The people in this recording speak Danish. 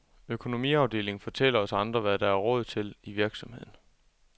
Økonomiafdelingen fortæller os andre, hvad der er råd til i virksomheden.